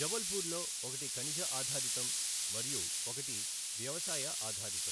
జబల్పూర్లో ఒకటి ఖనిజ ఆధారితం మరియు ఒకటి వ్యవసాయ ఆధారితం.